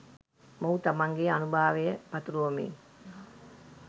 මොහු තමන්ගේ ආනුභාවය පතුරුවමින්